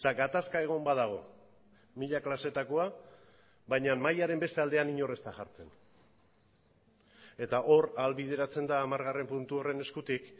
gatazka egon badago mila klaseetakoa baina mahaiaren beste aldean inor ez da jartzen eta hor ahalbideratzen da hamargarren puntu horren eskutik